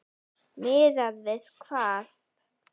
Miðað við hvað?